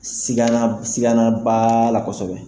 Siganan b'a la kosɛbɛ.